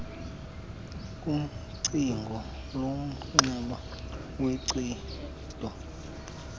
kucingo lomnxeba woncedo